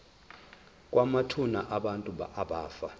kwamathuna abantu abafa